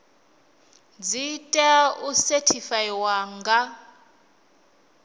dzi tea u sethifaiwa nga